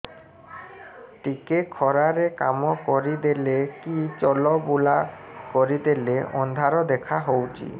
ଟିକେ ଖରା ରେ କାମ କରିଦେଲେ କି ଚଲବୁଲା କରିଦେଲେ ଅନ୍ଧାର ଦେଖା ହଉଚି